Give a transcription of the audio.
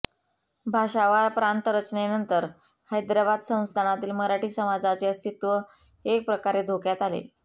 भाषावार प्रांत रचनेनंतर हैद्राबाद संस्थानातील मराठी समाजाचे अस्तित्व एक प्रकारे धोक्यात आले